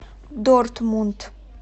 дортмунд